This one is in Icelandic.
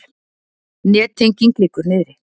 Nettenging liggur niðri